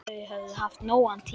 Þau höfðu haft nógan tíma.